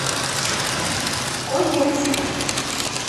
козельск